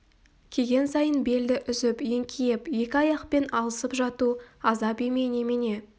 киген сайын белді үзіп еңкейіп екі аяқпен алысып жату азап емей немене